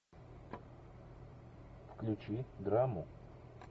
включи драму